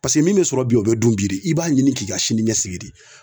min bɛ sɔrɔ bi o bɛ dun bi i b'a ɲini k'i ka sini ɲɛsigi